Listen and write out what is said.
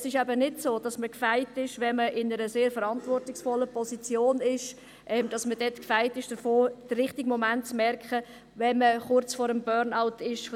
Es ist nicht so, dass man in einer sehr verantwortungsvollen Position dagegen gefeit ist und merkt, wenn man kurz vor dem Burnout steht.